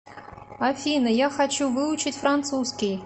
афина я хочу выучить французский